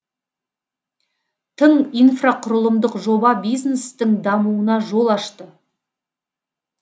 тың инфрақұрылымдық жоба бизнестің дамуына жол ашты